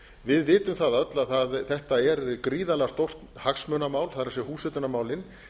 við vitum það öll að þetta er gríðarlega stórt hagsmunamál það er húshitunarmálin